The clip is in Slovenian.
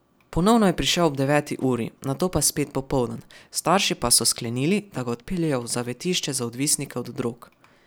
Ponovno je prišel ob deveti uri, nato pa spet popoldan, starši pa so sklenili, da ga odpeljejo v zavetišče za odvisnike od drog.